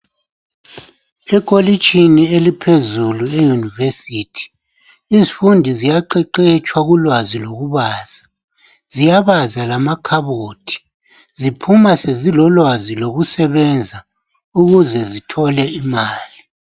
Ekolitshini eliphezulu iyunivesithi izifundi ziyaqeqetshwa ulwazi lokubaza ziyabaza lamakhabothi ziphuma sezilolwazi lokusebenza ukuze zithole imali.